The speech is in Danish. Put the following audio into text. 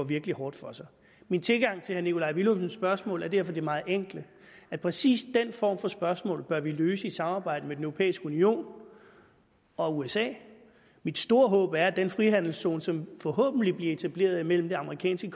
virkelig hårdt for sig min tilgang til herre nikolaj villumsens spørgsmål er derfor den meget enkle at præcis den form for spørgsmål bør vi løse i samarbejde med den europæiske union og usa mit store håb er at den frihandelszone som forhåbentlig bliver etableret mellem det amerikanske